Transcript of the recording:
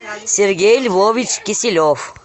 сергей львович киселев